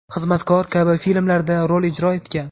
"Xizmatkor" kabi filmlarda rol ijro etgan.